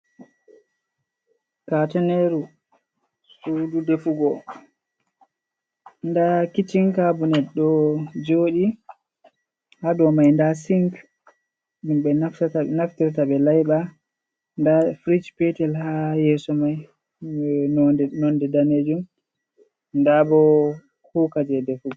Kateneru suudu defugo nda kichin kabinet ɗo jooɗi ha dou mai nda sink, ɗum ɓe naftirta ɓe laiɓa, nda firij petel ha yeeso mai je nonde danejum nda bo kuuka jei defugo.